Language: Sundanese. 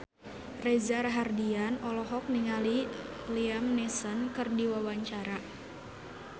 Reza Rahardian olohok ningali Liam Neeson keur diwawancara